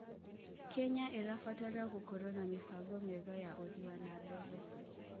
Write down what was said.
Kenya ĩrabatara gũkorwo na mĩbango mĩega ya ũthii wa na mbere.